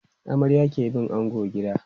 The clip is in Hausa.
Amarya ke bin ango gida.